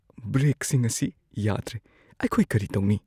ꯕ꯭ꯔꯦꯛꯁꯤꯡ ꯑꯁꯤ ꯌꯥꯗ꯭ꯔꯦ꯫ ꯑꯩꯈꯣꯏ ꯀꯔꯤ ꯇꯧꯅꯤ?